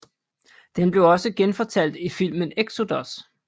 Den blev også genfortalt i filmen Exodus